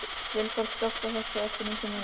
Vilberg, slökktu á þessu eftir nítján mínútur.